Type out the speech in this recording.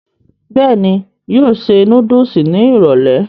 bẹ́ẹ̀ni, yóò ṣe núdùsì ní ìrọ̀lẹ̀